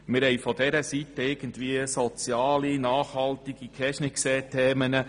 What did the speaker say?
Wir haben von dieser Seite soziale und nachhaltige Themen